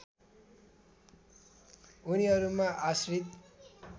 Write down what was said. उनीहरूमा आश्रित